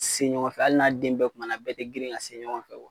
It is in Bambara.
Se ɲɔgɔn fɛ hali n'a den bɛɛ tuma na na bɛɛ tɛ girin ka se ɲɔgɔn fɛ